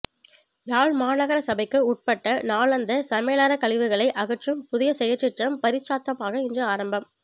யாழ் மாநகரசபைக்கு உட்பட்ட நாளாந்த சமலறைக்கழிவுகளை அகற்றும் புதிய செயற்றிட்டம் பரீட்சாத்தமாக இன்று ஆரம்பம்